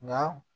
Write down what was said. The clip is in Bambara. Nka